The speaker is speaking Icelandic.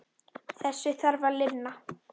Þessu þarf að linna.